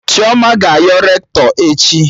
Chioma ga-ayọ Rektọ echi